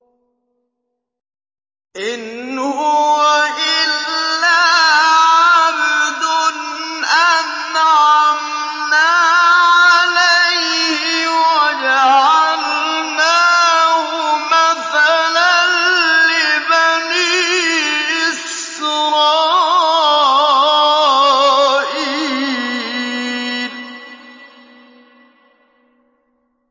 إِنْ هُوَ إِلَّا عَبْدٌ أَنْعَمْنَا عَلَيْهِ وَجَعَلْنَاهُ مَثَلًا لِّبَنِي إِسْرَائِيلَ